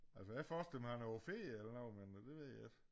Altså jeg forestiller mig han er på ferie eller noget men dte ved ikke